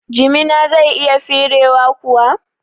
Jimina zai iya firewa kuwa?